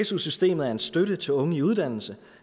su systemet er en støtte til unge i uddannelse